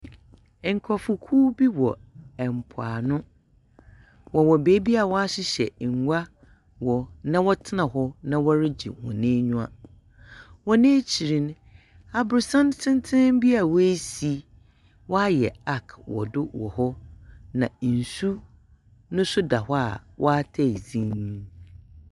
Nkorɔfokuw bi wɔ mpoano, wɔwɔ beebi a wɔahyehyɛ ngua wɔ na wɔtsena na wɔregye hɔn enyiwa. Hɔn ekyir no, aborɔsan tenten bi a woesi, wɔayɛ arc wɔ do wɔ hɔ. Na nsu no so da hɔ a ɔataa dzinn.